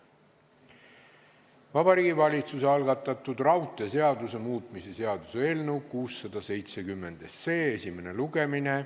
Vabariigi Valitsuse algatatud raudteeseaduse muutmise seaduse eelnõu 670 esimene lugemine.